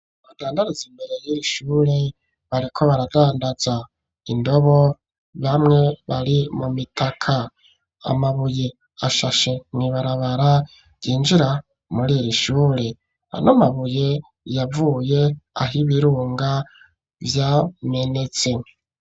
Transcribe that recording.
Abadandaraza imbere yiri shure bariko baradandaza indobo bamwe bari mu mitaka, amabuye ashashe mw'ibarabara ryinjira muri iri shure ano mabuye yavuye aho ibirunga vyamenetse.